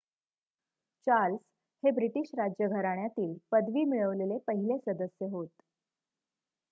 Charles हे British राज्यघराण्यातील पदवी मिळवलेले पहिले सदस्य होत